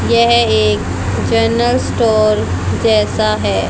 यह एक general store जैसा है।